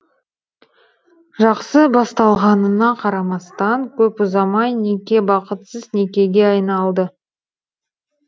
жақсы басталғанына қарамастан көп ұзамай неке бақытсыз некеге айналды